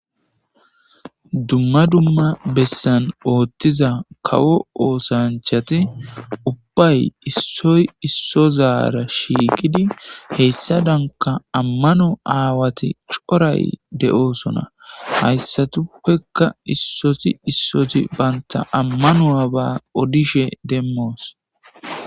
Dumma dumma bessan oththiza kawo osanchati ubbay isoy isozara shiqidi hesadanka ammano aawati coray de7osona. haysatuppeka isozi isozi banta amanu7aba odishe demos.